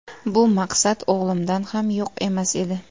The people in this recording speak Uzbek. Bu maqsad o‘g‘limda ham yo‘q emas edi.